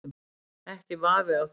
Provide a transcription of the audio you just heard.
Ekki vafi á því.